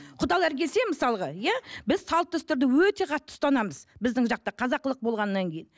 құдалар келсе мысалға иә біз салт дәстүрді өте қатты ұстанамыз біздің жақта қазақылық болғаннан кейін